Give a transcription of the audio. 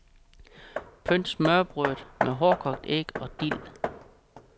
Pynt smørrebrødet med hårdkogt æg og dild.